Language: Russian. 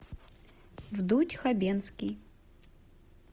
вдудь хабенский